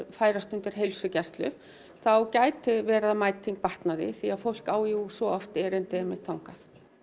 færast undir heilsugæslu þá gæti verið að mæting batnaði því fólk á jú svo oft erindi þangað